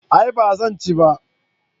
a'a ba zan ci ba